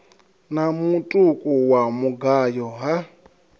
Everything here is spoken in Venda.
na mutuku wa mugayo ha